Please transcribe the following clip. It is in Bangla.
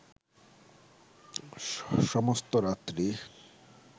সমস্ত রাত্রি